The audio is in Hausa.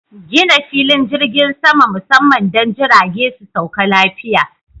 Gina filin jirgin sama musamman don jirage su sauka lafiya.